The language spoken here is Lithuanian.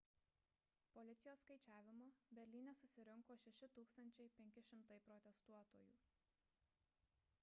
policijos skaičiavimu berlyne susirinko 6500 protestuotojų